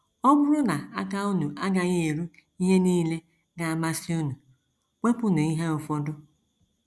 Ọ bụrụ na aka unu agaghị eru ihe nile ga - amasị unu, wepụnụ ihe ụfọdụ.